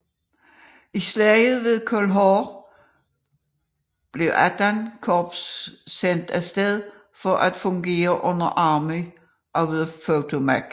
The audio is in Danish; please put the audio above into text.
I Slaget ved Cold Harbor blev XVIII Korps sendt af sted for at fungere under Army of the Potomac